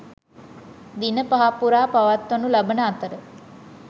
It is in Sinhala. දින පහක් පුරා පවත්වනු ලබන අතර